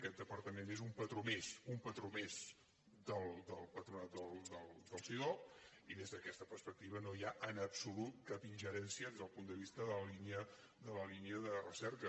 aquest departament és un patró més un patró més del patronat del cidob i des d’aquesta perspectiva no hi ha en absolut cap ingerència des del punt de vista de la línia de recerca